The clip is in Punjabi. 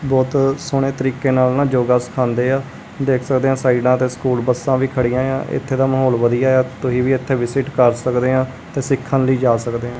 ਬਹੁਤ ਸੋਹਣੇ ਤਰੀਕੇ ਨਾਲ ਨਾ ਜੋਗਾ ਸਿਖਾਉਂਦੇ ਆ ਦੇਖ ਸਕਦੇ ਆ ਸਾਈਡਾਂ ਤੇ ਸਕੂਲ ਬੱਸਾਂ ਵੀ ਖੜੀਆਂ ਏ ਆ ਇੱਥੇ ਦਾ ਮਾਹੌਲ ਵਧੀਆ ਆ ਤੁਹੀ ਵੀ ਇੱਥੇ ਵਿਸਿਟ ਕਰ ਸਕਦੇ ਆਂ ਤੇ ਸਿੱਖਣ ਲਈ ਜਾ ਸਕਦੇ ਆਂ।